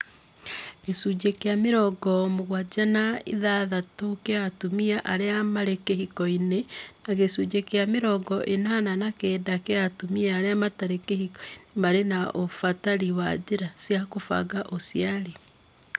gĩcunjĩ kĩa mĩrongo mũgwanja na ithathatu kĩa atumia arĩa marĩ kĩhiko-inĩ na gĩcunjĩ kĩa mĩrongo ĩnana na kenda kĩa atumia arĩa matarĩ kĩhiko-inĩ marĩ na ũbatari wa njĩra cĩa kũbanga ũciari